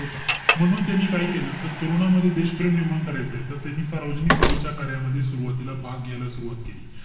म्हणून त्यांनी काय केलं? तर तरुणांमध्ये देशप्रेम निर्माण करायचंय. तर त्यांनी सार्वजनिक सेवेच्या कार्यामध्ये सुरवातीला भाग घ्यायला सुरवात केली.